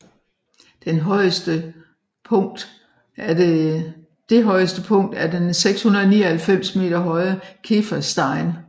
Den højestepunkt er den 699 m høje Keferstein